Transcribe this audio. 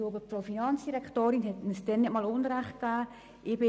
Ich glaube, die Finanzdirektorin hat uns diesmal Recht gegeben.